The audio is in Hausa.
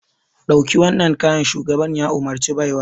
Ɗauki waɗannan kayan! shugaban ya umarci baiwar.